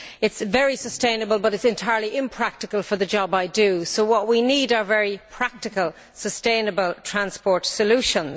It is very sustainable, but it is entirely impractical for the job I do. What we need are very practical, sustainable transport solutions.